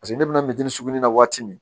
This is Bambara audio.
paseke ne be na susu ni na waati min